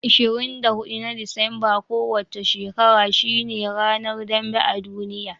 24 na Disambar kowa ce shekara shine ranar dambe a duniya.